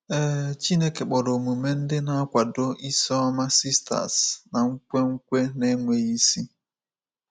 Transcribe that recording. Ee, Chineke kpọrọ omume ndị na-akwado is ọma sisters na nkwenkwe na-enweghị isi.